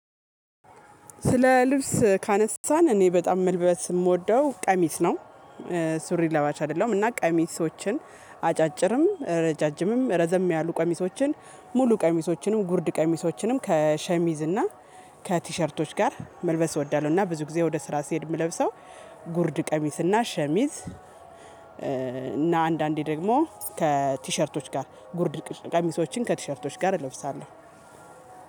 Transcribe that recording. ስለ ልብስ ካነሳን እኔ በጣም መልበስ የምወደው ቀሚስ ነው። ሱሪ ለባሽ አይደለሁም እና ቀሚሶችን አጫጭርም ረጃጅምም ረዘም ያሉ ቀሚሶችን ሙሉ ቀሚሶችንም ጉርድ ቀሚሶችንም ከሸሚዝ እና ከቲሸርቶች ጋር መልበስ እወዳለሁ። እና ብዙ ጊዜ ወደ ስራ ሲሄድ የምለብሰው ጉርድ ቀሚስና ሸሚዝ እና አንዳንዴ ደግሞ ከቲሸርቶች ጋር ጉርድ ቀሚሶችን ከቲሸርቶች ጋር እለብሳለሁ።